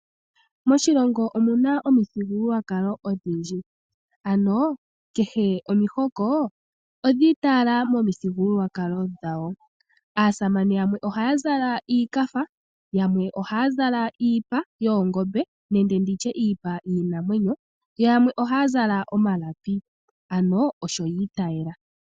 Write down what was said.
Moshilongo omuna omuthigululwakalo odhindji , ano kehe omihoko odhi itayela momuthigululwakalo dhawo. Aasamane yamwe ohaya zala iikafa , yamwe ohaya zala iipa yoongombe nenge iipa yiinanwenyo, yo yamwe ohaya zala omalapi. Ano osho yi itayela.